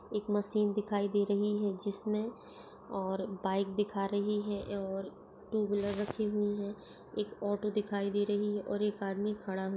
एक मशीन दिखाई दे रही है जिसमे और बाइक दिखा रही है और टू व्हीलर रखी हुई है। एक ऑटो दिखाई दे रही है और एक आदमी खड़ा हु --